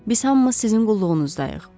Biz hamımız sizin qulluğunuzdayıq.